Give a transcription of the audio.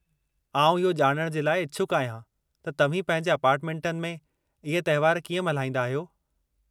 आउं इहो ॼाणण जे लाइ इछुकु आहियां त तव्हीं पंहिंजे अपार्टमेंटनि में इहे तहिवार कीअं मल्हाईंदा आहियो।